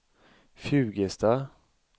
Fjugesta